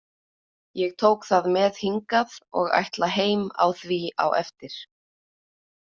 Ég tók það með hingað og ætla heim á því á eftir.